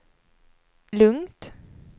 lugnt